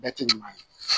Bɛɛ tɛ ɲuman ye